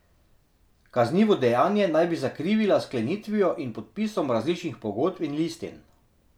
Kaznivo dejanje naj bi zakrivila s sklenitvijo in podpisom različnih pogodb in listin.